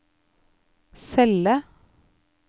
celle